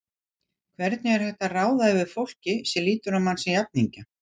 Hvernig er hægt að ráða yfir fólki sem lítur á mann sem jafningja?